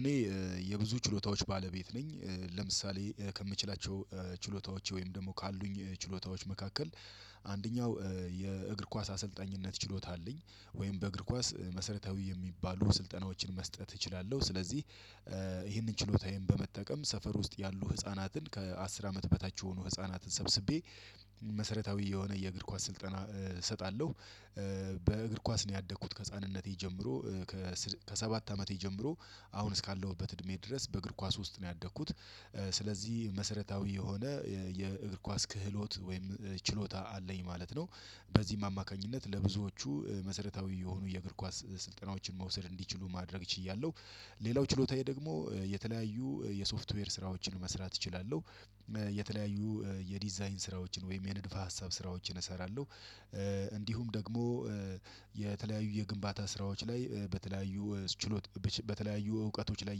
እኔ የብዙ ችሎታዎች ባለቤት ነኝ። ለምሳሌ ከምችላቸው ችሎታዎች ወይም ደግሞ ካሉኝ ችሎታዎች መካከል አንደኛው የእግር ኳስ አሰልጣኝነት ችሎታ አለኝ። ወይም በእግር ኳስ መሰረታዊ የሚባሉ ስልጠናዎችን መስጠት እችላለሁ። ስለዚህ ይህንን ችሎታዬን በመጠቀም ሰፈር ውስጥ ያሉ ህፃናትን ከአስር አመት በታች የሆኑ ህፃናትን ሰብስቤ መሰረታዊ የሆነ የእግር ኳስ ስልጠና እሰጣለሁ። በእግር ኳስ ነው ያደኩት ከህፃንነቴ ጀምሮ ከሰባት አመቴ ጀምሮ አሁን እስካለሁበት እድሜ ድረስ በእግር ኳስ ውስጥ ነው ያደግኩት። ስለዚህ መሰረታዊ የሆነ የእግር ኳስ ክህሎት ወይም ችሎታ አለኝ ማለት ነው። በዚህም አማካኝነት ለብዙዎቹ መሰረታዊ የሆኑ የእግር ኳስ ስልጠናዎችን መውሰድ እንዲችሉ ማድረግ ችያለሁ። ሌላው ችሎታዬ ደግሞ የተለያዩ የሶፍትዌር ስራዎችን መስራት እችላለሁ። የተለያዩ የዲዛይን ስራዎችን ወይም የንድፈ ሀሳብ ስራዎችን እሰራለሁ። እንዲሁም ደግሞ የተለያዩ የግንባታ ስራዎች ላይ በተለያዩ ችሎት በተለያዩ እውቀቶች ላይ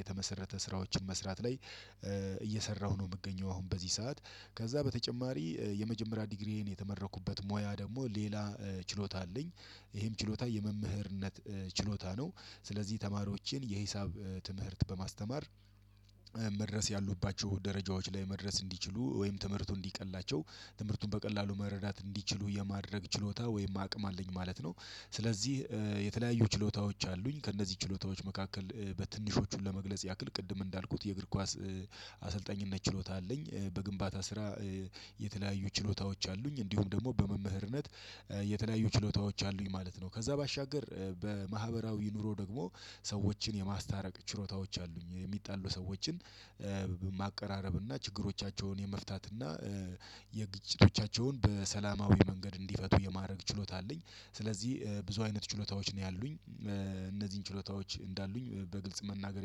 የተመሰረተ ስራዎችን መስራት ላይ እየሰራሁ ነው የምገኘው። አሁን በዚህ ሰዓት ከዛ በተጨማሪ የመጀመሪያ ዲግሪዬን የተመረኩበት ሙያ ደግሞ ሌላ ችሎታ አለኝ ይሄም ችሎታ የመምህርነት ችሎታ ነው። ስለዚህ ተማሪዎችን የሂሳብ ትምህርት በማስተማር መድረስ ያሉባቸው ደረጃዎች ላይ መድረስ እንዲችሉ ወይም ትምህርቱ እንዲቀላቸው ትምህርቱን በቀላሉ መረዳት እንዲችሉ የማድረግ ችሎታ ወይም አቅም አለኝ ማለት ነው። ስለዚህ የተለያዩ ችሎታዎች አሉኝ ከእነዚህ ችሎታዎች መካከል በትንሾቹን ለመግለጽ ያክል ቅድም እንዳልኩት የእግር ኳስ አሰልጣኝነት ችሎታ አለኝ። በግንባታ ስራ የተለያዩ ችሎታዎች አሉኝ እንዲሁም ደግሞ በመምህርነት የተለያዩ ችሎታዎች አሉኝ ማለት ነው። ከዛ ባሻገር በማህበራዊ ኑሮ ደግሞ ሰዎችን የማስታረቅ ችሎታዎች አሉኝ የሚጣሉ ሰዎችን ማቀራረብ እና ችግሮቻቸውን የመፍታትና የግጭቶቻቸውን በሰላማዊ መንገድ እንዲፈቱ የማድረግ ችሎታ አለኝ። ስለዚህ ብዙ አይነት ችሎታዎች ነው ያሉኝ። እነዚህን ችሎታዎች እንዳሉኝ በግልጽ መናገር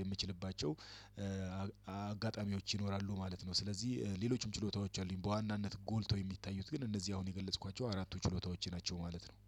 የምችልባቸው አጋጣሚዎች ይኖራሉ ማለት ነው። ስለዚህ ሌሎችም ችሎታዎች አሉኝ በዋናነት ጎልተው የሚታዩት ግን እነዚህ አሁን የገለጽኳቸው አራቱ ችሎታዎቼ ናቸው ማለት ነው።